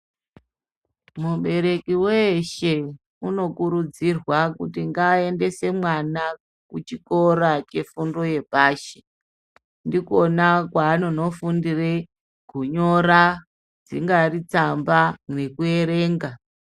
Mubereki weeshe, unokurudzirwa kuti ngaaendese mwana kuchikora chefundo yepashi. Ndikona kwanonofundire kunyora dzinyari tsamba nekuerenga.